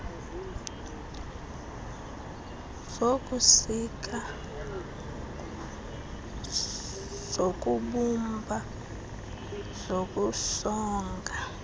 zokusika zokubumba zokusonga